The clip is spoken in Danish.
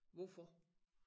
Hvorfor